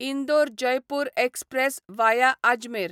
Indore Jaipur express via Ajmer